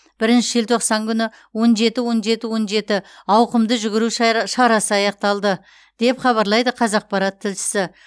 бірінші желтоқсан күні он жеті он жеті он жеті ауқымды жүгіру шая шарасы аяқталды деп хабарлайды қазақпарат тілшісі